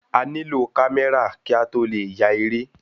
A ní lò kamẹra ki a tó le ya eré